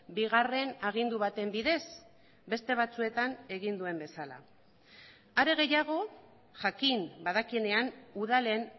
bigarren agindu baten bidez beste batzuetan egin duen bezala are gehiago jakin badakienean udalen